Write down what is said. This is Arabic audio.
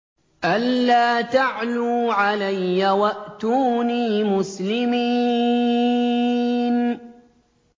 أَلَّا تَعْلُوا عَلَيَّ وَأْتُونِي مُسْلِمِينَ